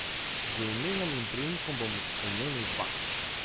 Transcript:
Z imenom in priimkom bom omenil dva.